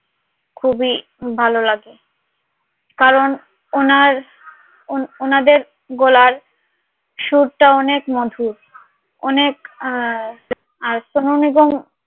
খুবই ভালো লাগে কারন উনার উনাদের গলার সুর টা অনেক মধুর অনেক এবং খুবই ভালো লাগে